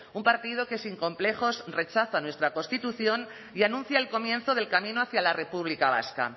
un partido que sin complejos rechaza nuestra constitución y anuncia el comienzo del camino hacia la república vasca